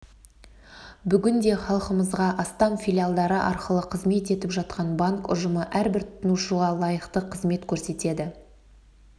бүгінде халқымызға астам филиалдары арқылы қызмет етіп жатқан банк ұжымы әрбір тұтынушыға лайықты қызмет көрсетеді